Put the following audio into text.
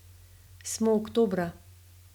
Smo oktobra.